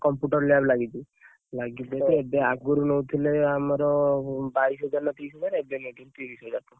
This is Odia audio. Computer lab ଲାଗିଛି ଲାଗିଛି ଯଦିଏବେ ଆଗରୁ ନଉଥିଲେ, ଆମର ବାଇଶ ହଜାର ନା ତିରୀଶ ହଜାର ଏବେ ନଉଛନ୍ତି ତିରିଶ ହଜାର ଟଙ୍କା।